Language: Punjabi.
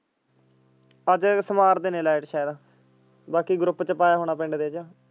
ਅੱਜ ਸਵਾਰ ਦੇ ਨੇ light ਸ਼ਾਇਦ ਬਾਕੀ group ਚ ਪਾਇਆ ਹੋਣਾ ਪਿੰਡ ਦੇ ਚ।